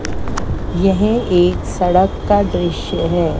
यह एक सड़क का दृश्य है।